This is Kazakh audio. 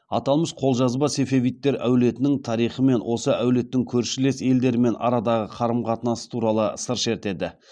аталмыш қолжазба сефевидтер әулетінің тарихы мен осы әулеттің көршілес елдермен арадағы қарым қатынасы туралы сыр шертеді